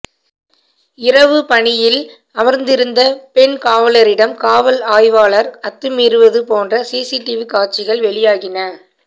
இரவு பணியில் அமர்ந்திருந்த பெண் காவலரிடம் காவல் ஆய்வாளர் அத்துமீறுவது போன்ற சிசிடிவி காட்சிகள் வெளியாகின